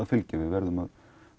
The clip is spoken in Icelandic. fylgja við verðum að